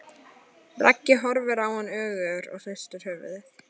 Raggi horfir á hann önugur og hristir höfuðið.